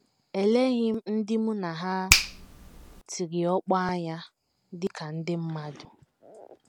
Eleghị m ndị mụ na ha tiri ọkpọ anya dị ka ndị mmadụ.